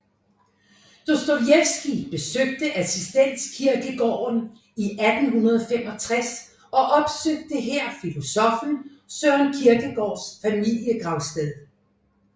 Dostojevskij besøgte Assistens Kirkegård i 1865 og opsøgte her filosoffen Søren Kierkegaards familiegravsted